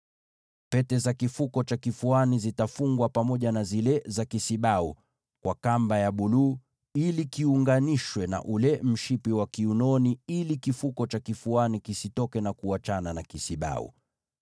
Pete za kifuko cha kifuani zitafungwa kwenye pete zile za kisibau kwa kamba ya buluu, ziunganishwe na ule mshipi wa kiunoni, ili kifuko cha kifuani kisisogee kutoka kwenye kile kisibau.